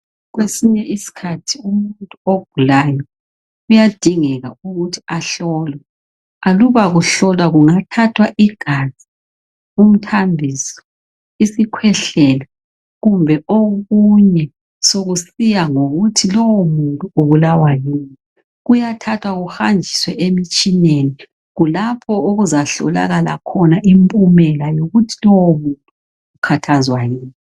Kwesinye iskhathi umuntu ogulayo kuyadingeka ukuthi ahlolwe , aluba kuhlolwa kungathathwa igazi , umthambiso isikhwehlela kumbe okunye sokusiya ngokuthi lowomuntu ubulawa yini , kuyathathwa kuhanjiswe emitshineni , kulapho okuzahlolakala khona impumela yokuthi lowomuntu ukhathazwa yini